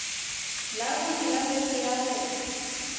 labone la beke ya go